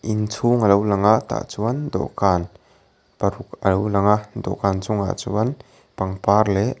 inchhung alo lang a tah chuan dawhkan paruk alo lang a dawhkan chungah chuan pangpar leh--